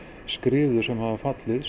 skriður sem hafa fallið